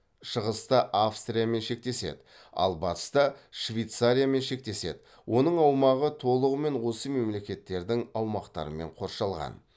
шығыста австриямен шектеседі ал батыста швейцариямен шектеседі оның аумағы толығымен осы мемлекеттердің аумақтарымен қоршалған